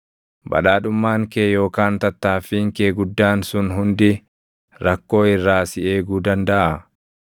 Badhaadhummaan kee yookaan tattaaffiin kee guddaan sun hundi rakkoo irraa si eeguu dandaʼaa?